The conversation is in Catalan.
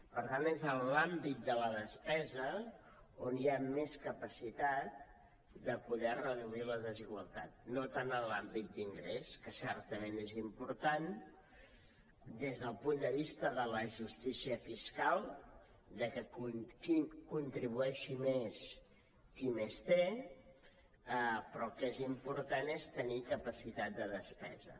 per tant és en l’àmbit de la despesa on hi ha més capacitat de poder reduir la desigualtat no tant en l’àmbit d’ingrés que certament és important des del punt de vista de la justícia fiscal que contribueixi més qui més té però el que és important és tenir capacitat de despesa